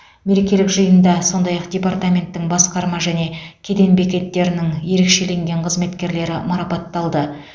мерекелік жиында сондай ақ департаменттің басқарма және кеден бекеттерінің ерекшеленген қызметкерлері марапатталды